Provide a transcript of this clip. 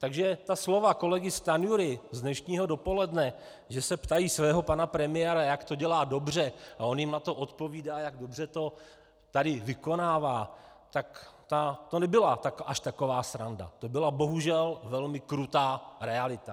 Takže ta slova kolegy Stanjury z dnešního dopoledne, že se ptají svého pana premiéra, jak to dělá dobře, a on jim na to odpovídá, jak dobře to tady vykonává, tak to nebyla až taková sranda, to byla bohužel velmi krutá realita.